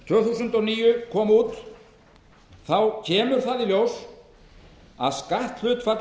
tvö þúsund og níu kom út kemur í ljós að skattbyrðin það